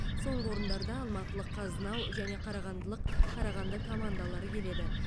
соңғы орындарда алматылық қазнау және қарағандылық қарағанды командалары келеді